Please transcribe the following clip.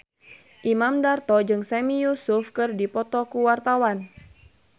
Imam Darto jeung Sami Yusuf keur dipoto ku wartawan